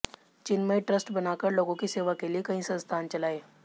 चिन्मय trust बनाकर लोगों की सेवा के लिए कई संस्थान चलाये